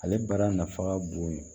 Ale baara nafa ka bon